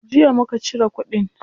Jiya muka cire kudin.